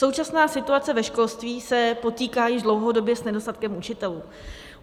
Současná situace ve školství se potýká již dlouhodobě s nedostatkem učitelů.